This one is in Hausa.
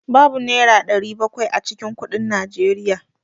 Babu Naira 700 a cikin kuɗin Nigeria.